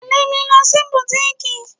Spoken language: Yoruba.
Tẹle mi lọ sí butiiki.